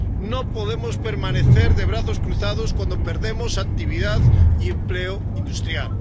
No podemos permanecer de brazos cruzados cuando perdemos actividad y empleo industrial.